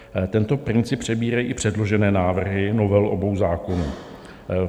Tento princip přebírají i předložené návrhy novel obou zákonů.